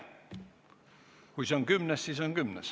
Kui see on kümnes, siis on kümnes.